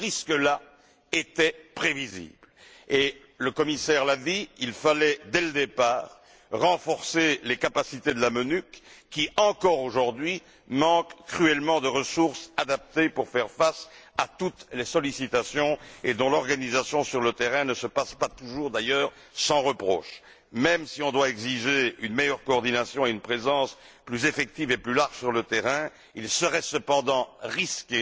Ce risque là était prévisible et, le commissaire l'a dit, il fallait, dès le départ, renforcer les capacités de la MONUC qui, aujourd'hui encore, manque cruellement de ressources adaptées pour faire face à toutes les sollicitations et dont l'organisation sur le terrain n'est d'ailleurs pas toujours idéale. Même si l'on doit exiger une meilleure coordination et une présence plus effective et plus large sur le terrain, il serait cependant risqué